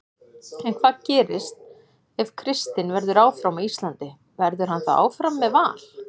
En hvað gerist ef Kristinn verður áfram á Íslandi, verður hann þá áfram með Val?